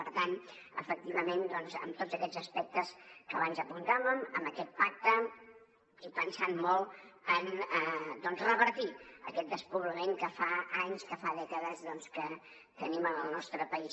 per tant efectivament en tots aquests aspectes que abans apuntàvem en aquest pacte i pensant molt en revertir aquest despoblament que fa anys que fa dècades que tenim en el nostre país